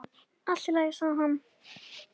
Allt í lagi, sagði hann.